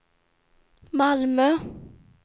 Malmö